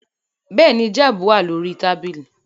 Bẹ́ẹ̀ ni, jab náà wà lórí tábìlì